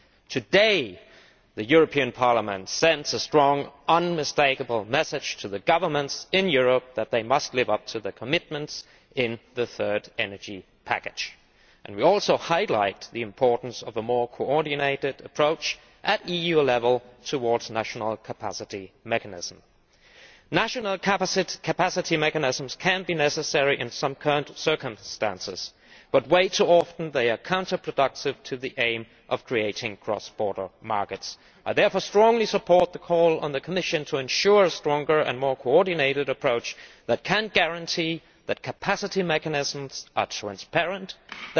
Today the European Parliament is sending out a strong and unmistakable message to the governments in Europe that they must live up to their commitments in the third energy package, and we are also highlighting the importance of a more coordinated approach at EU level towards national capacity mechanisms. National capacity mechanisms can be necessary in some circumstances, but much too often they are counterproductive as regards the aim of creating cross border markets. I therefore strongly support the call to the Commission to ensure a stronger and more coordinated approach capable of guaranteeing that capacity mechanisms will be transparent